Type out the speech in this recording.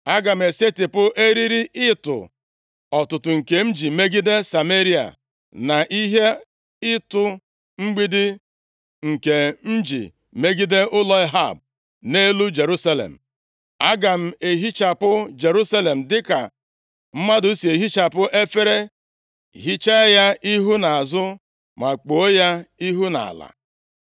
Aga m esetipụ eriri ịtụ ọtụtụ nke m ji megide Sameria na ihe ịtụ mgbidi nke m ji megide ụlọ Ehab, nʼelu Jerusalem. Aga m ehichapụ Jerusalem dịka mmadụ si ehichapụ efere, hichaa ya ihu na azụ ma kpuo ya ihu nʼala.